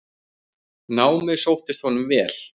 Námið sóttist honum vel.